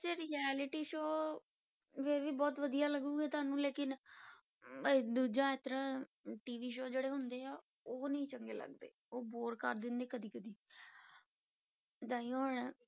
'ਚ reality show ਵੀ ਬਹੁਤ ਲੱਗੇਗੀ ਤੁਹਾਨੂੰ ਲੇਕਿੰਨ ਇਹ ਦੂਜਾ ਇਸ ਤਰ੍ਹਾਂ TV show ਜਿਹੜੇ ਹੁੰਦੇ ਆ ਉਹ ਨੀ ਚੰਗੇ ਲੱਗਦੇ, ਉਹ bore ਕਰ ਦਿੰਦੇ ਕਦੇ ਕਦੇ ਤਾਂਹੀਓ ਹੁਣ